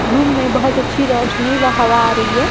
Room मे बहोत अच्छी रोशनी व हवा आ रही है।